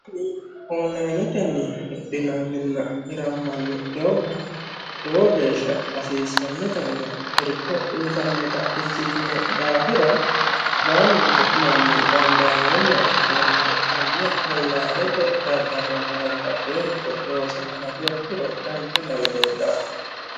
ollaanetenni hidhinanninna hirammanni doogga lowo geeshsha hasiissannotanna irko uyitannota ikkitino daafira baalunku manni dandaamoomma ikkoommero konne ollaanete daddalonna babbaxeericho loosa hanafiha ikkiro danicha lawe leellaa"e